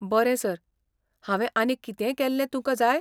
बरें सर, हांवें आनीक कितेंय केल्ले तुकां जाय?